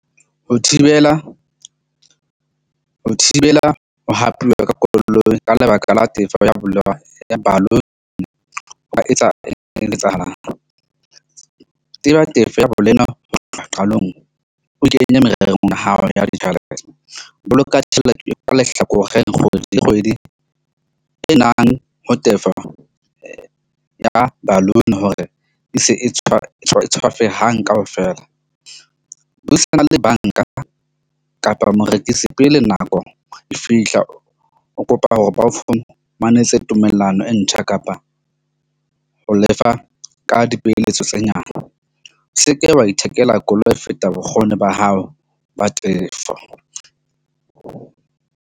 Ho thibela ho tlotla qalong o kenye mererong ya hao ya ditjhelete ho boloka tjhelete ka lehlakoreng kgwedi le kgwedi, e nang ho tefo ya balloon hore e se e tshwara tswafe hang kaofela. Buisana le bank-a kapa morekisi pele nako e fihla. O kopa hore ba o fa manese tumellano e ntjha kapa ho lefa ka dipoeletso tse nyane. O seke wa ithekela koloi e feta bokgoni ba hao ba tefo.